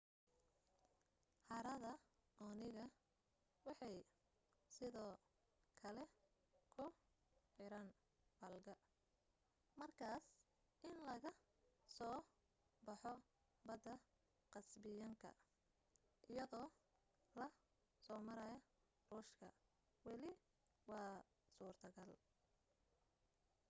harada onega waxay sidoo kale ku xiran folga markaas in laga soo baxo badda kasbiyaanka iyadoo la soo marayo ruushka wali waa suurtogal